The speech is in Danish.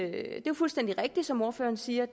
fuldstændig rigtigt som ordføreren siger